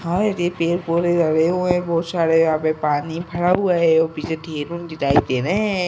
हाए रे पेड़ पौधे लगे हुए हैं बहुत सारे। यहाँ पे पानी भरा हुआ है। पीछे दिखाई दे रहे है।